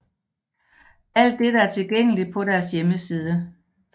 Alt dette er tilgængeligt på deres hjemmeside